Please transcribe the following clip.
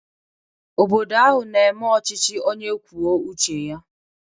Obodo ahụ na-eme ọchịchị onye kwuo uche ya